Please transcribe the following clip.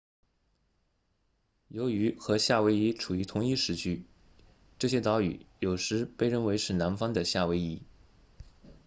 由于和夏威夷处于同一时区这些岛屿有时被认为是南方的夏威夷